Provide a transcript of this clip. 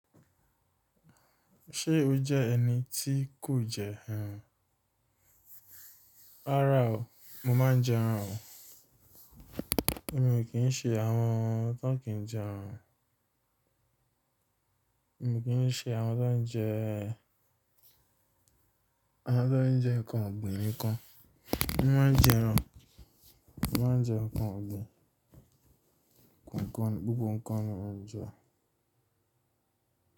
Ṣé o jẹ́ ẹni tí kò jẹ ẹran? Rárá o, mo máa ń jẹ ẹran o. Èmi o kìn ṣe àwọn tón kì ń jẹ ẹran. Èmi kì í ṣe àwọn tó ń jẹ, àwọn tó ń jẹ nnkan ọ̀gbìn nìkan. Mo máa ń jẹ ẹran, mo máa ń jẹ nnkan ọ̀gbìn. Ǹkan gbogbo ńkan ni mò ń jẹ.